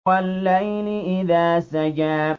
وَاللَّيْلِ إِذَا سَجَىٰ